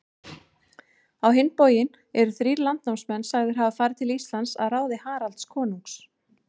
Á hinn bóginn eru þrír landnámsmenn sagðir hafa farið til Íslands að ráði Haralds konungs.